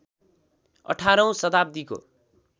अठारौँ शताव्दीको